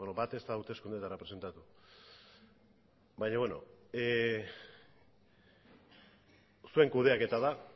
beno bat ez da hauteskundeetara presentatu zuen kudeaketa da